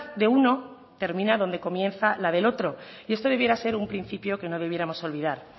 de uno termina donde comienza la del otro y esto debiera ser un principio que no debiéramos olvidar